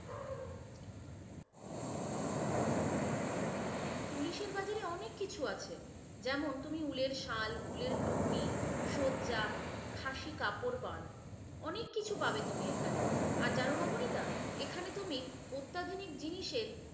পুলিশের বাজারে অনেক কিছু আছে, যেমন তুমি উলের সাল, উলের টুপি, সজ্জা, খাশি কাপড় পান অনেক কিছু পাবে তুমি এখানে। আর জানো নবনীতা এখানে তুমি অত্যাধুনিক জিনিসের